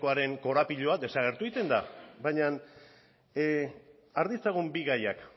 yaren korapiloa desagertu egiten da baina har ditzagun bi gaiak